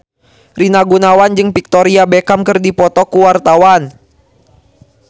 Rina Gunawan jeung Victoria Beckham keur dipoto ku wartawan